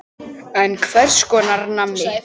En hvers konar manni?